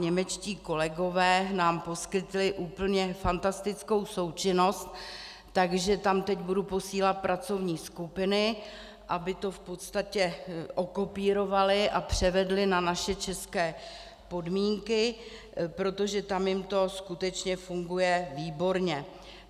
Němečtí kolegové nám poskytli úplně fantastickou součinnost, takže tam teď budu posílat pracovní skupiny, aby to v podstatě okopírovaly a převedly na naše české podmínky, protože tam jim to skutečně funguje výborně.